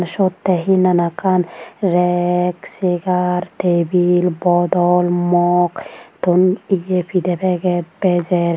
Siyot te hi nanakkan rek segar tebil bodol mog ton ye pide peget bejer.